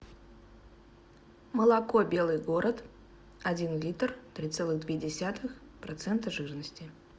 молоко белый город один литр три целых две десятых процента жирности